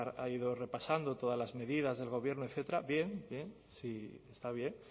ha ido repasando todas las medidas del gobierno etcétera bien bien está bien